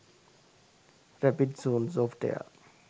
rapid zone software